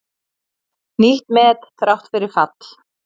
Nýtt met þrátt fyrir fall